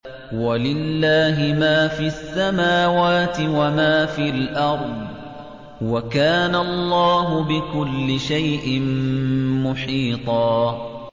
وَلِلَّهِ مَا فِي السَّمَاوَاتِ وَمَا فِي الْأَرْضِ ۚ وَكَانَ اللَّهُ بِكُلِّ شَيْءٍ مُّحِيطًا